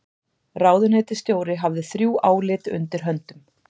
Ráðuneytisstjóri hafði þrjú álit undir höndum